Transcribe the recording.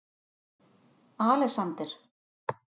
Alexander